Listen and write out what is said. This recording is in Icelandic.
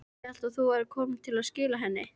Ég hélt að þú værir kominn til að skila henni.